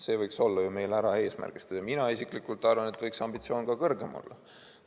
See võiks olla ju meil ära eesmärgistatud ja mina isiklikult arvan, et võiks ambitsioon ka kõrgem olla.